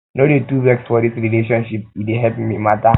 no dey too vex for um dis relationship e dey help um mata